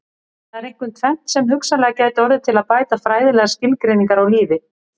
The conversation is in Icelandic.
Það er einkum tvennt sem hugsanlega gæti orðið til að bæta fræðilegar skilgreiningar á lífi.